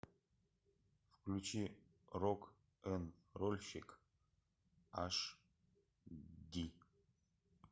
включи рок н рольщик аш ди